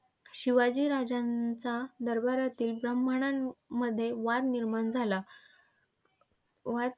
शिवाजी राजांच्या दरबारातील ब्राह्मणांमध्ये वाद निर्माण झाला. वाद.